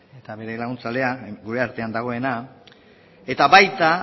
eta bere laguntzailea gure artean dagoena eta baita